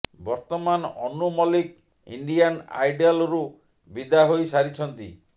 ବର୍ତ୍ତମାନ ଅନୁ ମଲିକ ଇଣ୍ଡିଆନ୍ ଆଇଡଲ୍ରୁ ବିଦା ହୋଇ ସାରିଛନ୍ତି